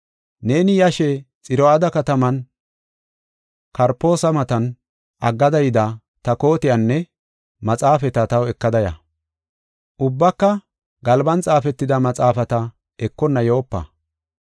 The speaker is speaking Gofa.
Neeni yashe, Xiro7aada kataman Karpoosa matan aggada yida ta kootiyanne maxaafata taw ekada ya. Ubbaka galban xaafetida maxaafata ekonna yoopa.